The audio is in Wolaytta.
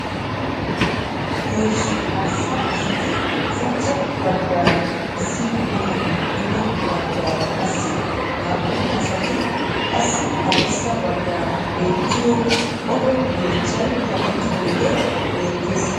Heezzu arssa asati ushachcha baggaara issi bitanee duge baggaara qassi naa"u asati qassi haddirssa baggaara beettiyo odo yeechchay kaqettidaagee beettees.